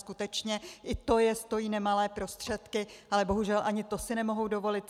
Skutečně i to je stojí nemalé prostředky, ale bohužel ani to si nemohou dovolit.